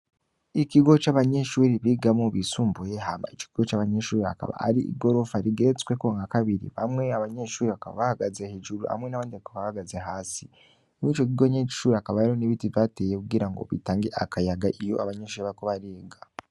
Ikigo c'abanyeshure bigamwo, bisumbuye. Hama ico kigo c'abanyeshure hakaba hari igorofa rigeretsweko nka kabiri, bamwe abanyeshure bakaba bahagaze hejuru hamwe n'abandi bakaba bahagaze hasi. Muri ico kigo nyene c'ishure hakaba hariho n'ibiti vyatewe kugirango bitange akayaga iyo abanyeshure bariko bariga.